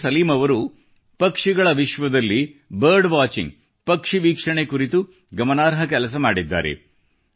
doctor Salim ಅವರು ಪಕ್ಷಿಗಳ ವಿಶ್ವದಲ್ಲಿ ಪಕ್ಷಿವೀಕ್ಷಣೆ ಕುರಿತು ಗಮನಾರ್ಹ ಕೆಲಸ ಮಾಡಿದ್ದಾರೆ